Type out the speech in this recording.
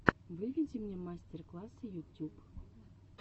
выведи мне мастер классы ютюб